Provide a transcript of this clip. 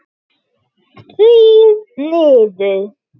Þrír niður.